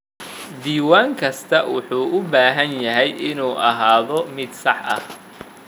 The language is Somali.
Diiwaan kastaa wuxuu u baahan yahay inuu ahaado mid sax ah.